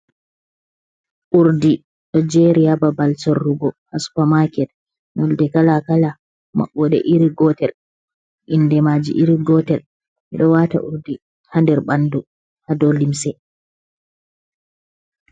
Urdi do jeri ha babal sorrugo ha supamaket nolɗe kala kala mabboɗe iri gotel inɗe maji iri gotel ɓe ɗo wata urdi hadir ɓandu ha dow limse.